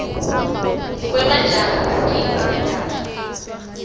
wemajaha agidza ingadla